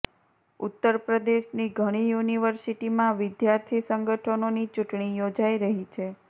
ઉત્તર પ્રદેશની ઘણી યૂનિવર્સિટીમાં વિદ્યાર્થી સંગઠનોની ચૂંટણી યોજાઇ રહી છે